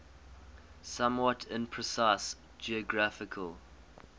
somewhat imprecise geographical